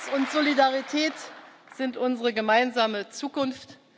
Toleranz und Solidarität sind unsere gemeinsame